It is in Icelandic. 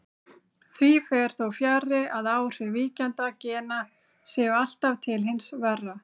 Því fer þó fjarri að áhrif víkjandi gena séu alltaf til hins verra.